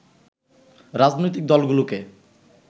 রাজনৈতিক দলগুলোকে